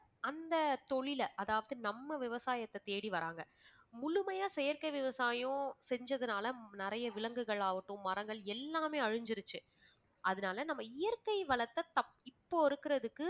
அந்தத் தொழிலை அதாவது நம்ம விவசாயத்தை தேடி வராங்க. முழுமையா செயற்கை விவசாயம் செஞ்சதனால நிறைய விலங்குகளாகட்டும் மரங்கள் எல்லாமே அழிஞ்சிருச்சு. அதனால நம்ம இயற்கை வளத்தை த~ இப்போ இருக்கிறதுக்கு